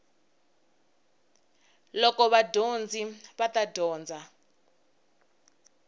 loko vadyondzi va ta dyondza